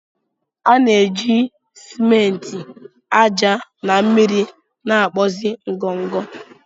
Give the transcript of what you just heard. A na-eji ciment, ájá na mmiri na-akpụzi ngọngọ.